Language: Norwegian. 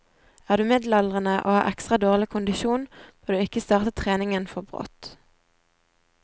Er du middelaldrende og har ekstra dårlig kondisjon, bør du ikke starte treningen for brått.